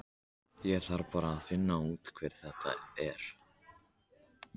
Ég þarf bara að finna út hver það er.